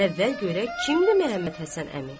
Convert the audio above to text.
Əvvəl görək, kimdi Məhəmmədhəsən əmi?